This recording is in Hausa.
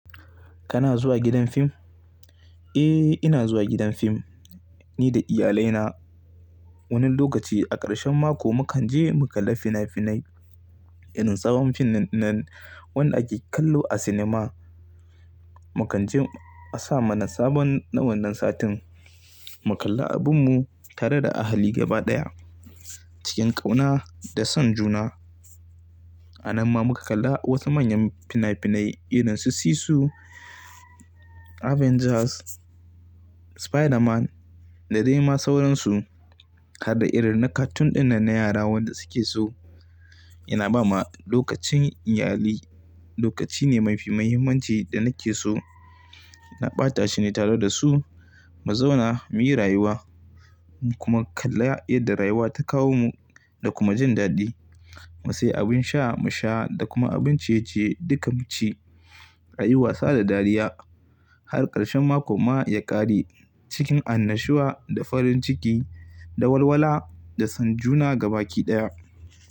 Kana zuwa gidan fim? Eh, ina zuwa gidan fim, ni da iyalaina. Wani lokaci, a ƙarshen mako mu kan je mu kalla fina-finai irin tsawon fim ɗin nan wanda ake kallo a cinema. Mu kan je a sa mana sabon na wannan satin, mu kalla abin mu tare da ahali gaba ɗaya cikin ƙauna da son juna. A nan ma muka kalla wasu manyan fina-finai irin su Cissu, Avengers, Spiderman da dai ma sauransu, harda irin na cartoon ɗin nan na yara wanda su ke so. Ina ba ma lokacin iyali lokaci ne mafi muhimmanci da nake so. Ina ɓata shi ne tare da su, mu zauna muyi rayuwa. Mu kuma kalla yarda rayuwa ta kawo mu, da kuma jindaɗi. Mu sayi abin sha mu sha da kuma abin ciye-ciye duka mu ci, ra'ayi wasa da dariya har ƙarshen mako ma ya ƙare cikin annashuwa da farin ciki da walwala da son juna gaba ki ɗaya.